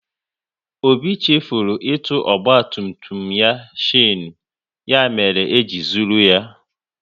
Obi chefuru itu ọgba tum tum ya shanu, ya mere eji zụrụ ya